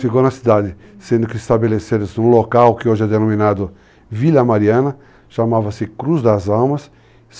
Ficou na cidade, sendo que estabeleceram-se num local que hoje é denominado Vila Mariana, chamava-se Cruz das